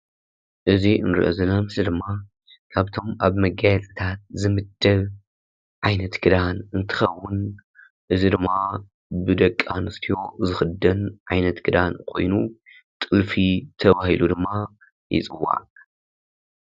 እዚ እንሪኦ ዘለና ምስሊ ድማ ካብቶም ኣብ መጋየፅታት ዝምደብ ዓይነት ክዳን እንትኸውን እዚ ድማ ብደቂ ኣንስትዮ ዝኽደን ዓይነት ክዳን ኮይኑ ጥልፊ ተባሂሉ ድማ ይፅዋዕ።